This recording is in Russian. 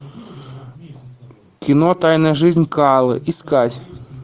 кино тайная жизнь коалы искать